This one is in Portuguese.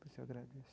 Por isso, eu agradeço.